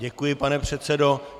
Děkuji, pane předsedo.